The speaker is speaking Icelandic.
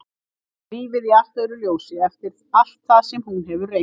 Hún sér lífið í allt öðru ljósi eftir allt það sem hún hefur reynt.